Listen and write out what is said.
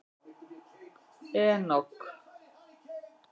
Enok